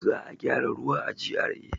Za a gyara ruwa a GRA.